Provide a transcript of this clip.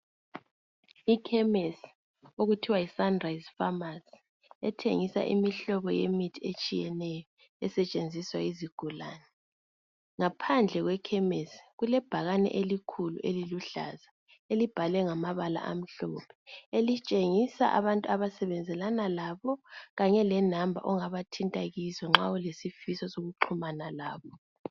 Ikhemisi okuthiwa yi sunrise pharmacy ethengisa imihlobo yemithi etshiyeneyo esetshenziswa yizigulane. Ngaphandle kwekhemisi kulebhakane elikhulu eliluhlaza elibhalwe ngamabala amhlophe elitshengisa abantu abasebenzelana labo kanye le number ongaba thinta kizo nxa ulesifiso soku xhumana labo.